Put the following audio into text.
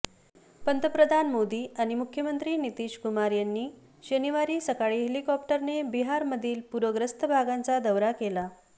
पंतप्रधान मोदी आणि मुख्यमंत्री नितीशकुमार यांनी शनिवारी सकाळी हेलिकॉप्टरने बिहारमधील पूरग्रस्त भागाचा दौरा केला